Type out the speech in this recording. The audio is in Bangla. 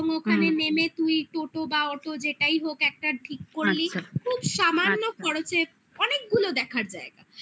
এবং ওখানে নেমে তুই টোটো বা অটো যেটাই হোক একটা ঠিক করলি আচ্ছা খুব সামান্য খরচে অনেকগুলো দেখার জায়গা